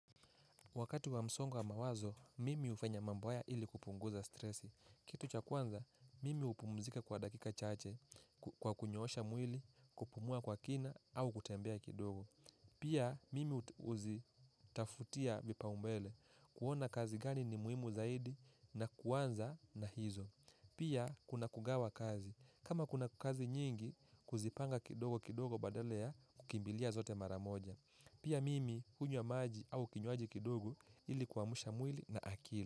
Wakati wa msongo wa mawazo, mimi hufanya mambo haya ili kupunguza stresi. Kitu cha kwanza, mimi gupumzika kwa dakika chaamche, kwa kunyoosha mwili, kupumua kwa kina, au kutembea kidogo. Pia, mimi huzitafutia vipaumbele, kuona kazi gani ni muhimu zaidi, na kuanza na hizo. Pia, kuna kugawa kazi. Kama kuna kazi nyingi, kuzipanga kidogo kidogo badala ya, kukimbilia zote mara moja. Pia mimi hunywa maji au kinywaji kidogo ilikuamsha mwili na akili.